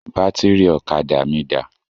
Bátìrì ọ̀kadà mí dà?